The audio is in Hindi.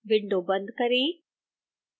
window बंद करें